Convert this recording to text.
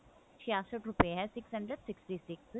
ਛਿਆਸਟ ਰੁਪਏ ਹੈ six hundred sixty six